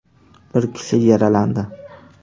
Bir kishi yaralandi.